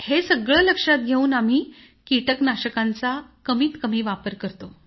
हे सगळं लक्षात घेऊन आम्ही पेस्टिसाइडचा कमीत कमी वापर करतो